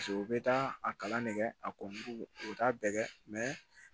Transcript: Paseke u bɛ taa a kalan nege a ko u t'a bɛɛ kɛ